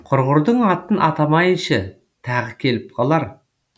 құрғырдың атын атамайыншы тағы келіп калар